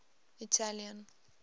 italian